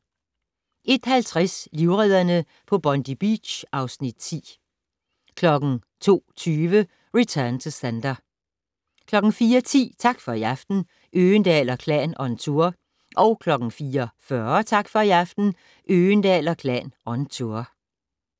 01:50: Livredderne på Bondi Beach (Afs. 10) 02:20: Return to Sender 04:10: Tak for i aften - Øgendahl & Klan on tour 04:40: Tak for i aften - Øgendahl & Klan on tour